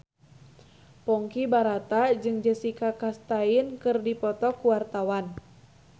Ponky Brata jeung Jessica Chastain keur dipoto ku wartawan